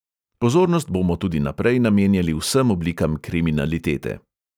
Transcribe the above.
Pozornost bomo tudi naprej namenjali vsem oblikam kriminalitete.